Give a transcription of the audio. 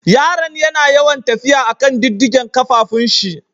Yaran yana yawan tafiya a'kan diddigen kafafun shi.